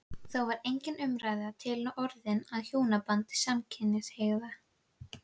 Þá var engin umræða til orðin um hjónaband samkynhneigðra.